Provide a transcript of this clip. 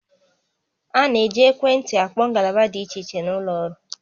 A na-eji ekwentị akpọ ngalaba dị iche iche n'ụlọ ọrụ